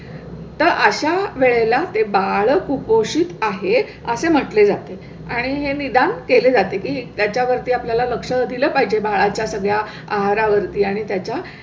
तर अशा वेळेला ते बाळ कुपोषित आहे असे म्हटले जाते आणि हे निदान केले जाते की त्याच्यावरती आपल्या ला लक्ष दिलं पाहिजे. बाळाच्या सगळ्या आहारा वरती आणि त्याच्या